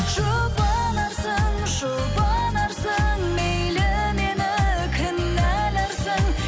жұбанарсың жұбанарсың мейлі мені кінәларсың